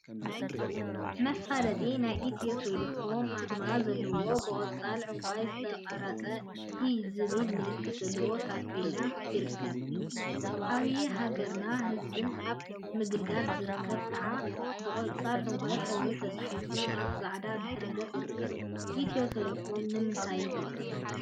መፋለጢ ናይ ኢትዮ ቴሌኮም አርማ ዘለዎ ብቆፃል ዕንቋይን ዝተቀረፀ ኢ ዝብል ምልክት ዘለዎ ታፔላ ይርከብ፡፡ ዓብይ ሃገርን ህዝብን አብ ምግልጋል ዝብል ከዓ ብቆፃል ዕንቋይንሕብሪ ተፃሒፉ አብ ፃዕዳ ድሕረ ገፅ ይርከብ፡፡ ኢትዮ ቴሌኮም ንምንታይ ይጠቅም?